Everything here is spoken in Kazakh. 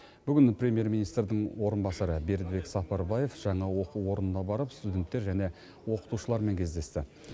бүгін премьер министрдің орынбасары бердібек сапарбаев жаңа оқу орнына барып студенттер және оқытушылармен кездесті